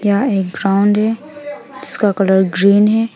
यह एक ग्राउंड है जिसका कलर ग्रीन है।